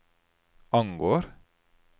angår